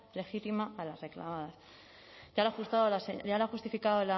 legítima a las reclamadas ya lo ha justificado